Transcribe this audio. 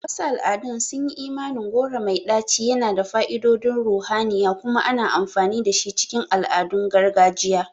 A wasu al'adun, sunyi imanin goro mai ɗaci yana da fa'idodin ruhaniya kuma ana amfani dashi cikin al'adun gargajiya.